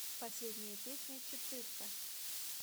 последняя песня четырка